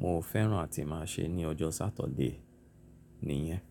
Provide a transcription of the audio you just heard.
mo fẹ́ràn àti máa ń ṣe ní ọjọ́ Sátọ̀dé nìyẹn.